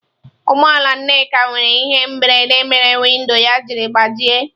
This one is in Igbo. Ụgbọ ala Nneka nwere ihe mberede mere windo ya jiri gbajie.